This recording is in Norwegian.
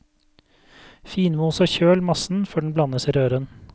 Finmos og kjøl massen før den blandes i røren.